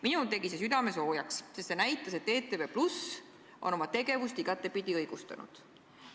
Minul tegi see südame soojaks, sest see näitas, et ETV+ on oma tegevust igatepidi õigustanud.